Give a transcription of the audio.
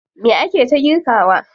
Me ake ta girkawa?